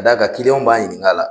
Ka da kan b'a ɲininka la.